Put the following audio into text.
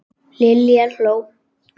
Lilla hló.